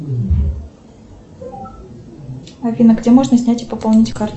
афина где можно снять и пополнить карту